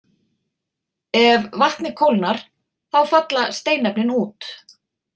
Ef vatnið kólnar þá falla steinefnin út.